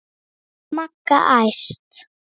Magga æst.